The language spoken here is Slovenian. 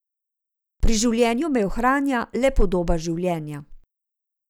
Pri življenju me ohranja le podoba življenja.